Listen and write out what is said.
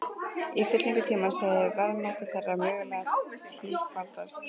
Í fyllingu tímans hefði verðmæti þeirra mögulega tífaldast.